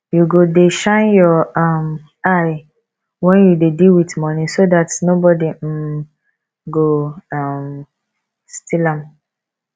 you go dey shine your um eye wen you dey deal with money so dat nobody um got steal um am